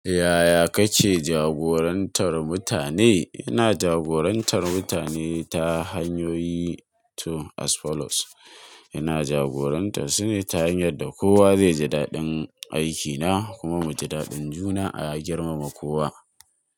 Yaya kake jagorantar mutane? Ina jagorantar mutane ta hanyoyi biyu kamar haka ina jagorantar su ne ta hanyar da kowa zai ji daɗin aikina kuma mu ji daɗin juna a ya girmama kowa.